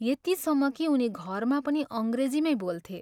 यतिसम्म कि उनी घरमा पनि अङ्ग्रेजीमै बोल्थे।